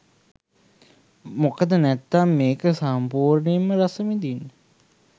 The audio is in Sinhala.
මොකද නැත්නම් මේක සම්පූර්ණයෙන්ම රසවිදින්න